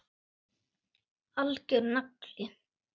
Algjör nagli.